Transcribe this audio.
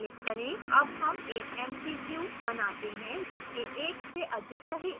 अब हम एक mcq बनाते हैं जिसके एक से अधिक सही उत्तर हैं